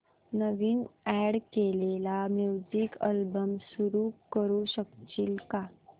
नवीन add केलेला music album सुरू करू शकशील का